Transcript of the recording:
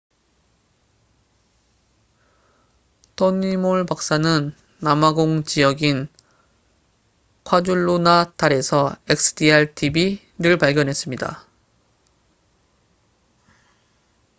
토니 몰 박사는 남아공 지역인 콰줄루나탈에서 xdr-tb약물 내성 결핵를 발견했습니다